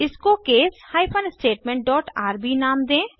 इसको case hyphen statement dot R B नाम दें